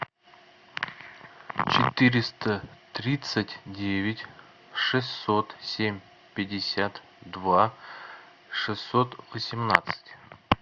четыреста тридцать девять шестьсот семь пятьдесят два шестьсот восемнадцать